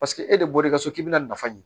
Paseke e de bɔr'i ka so k'i bɛna nafa ɲini